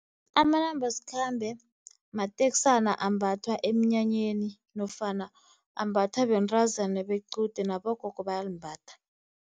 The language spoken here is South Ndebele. Amanambasikhambe mateksana ambathwa emnyanyeni nofana ambathwa bentazana bequde nabogogo bayazimbatha.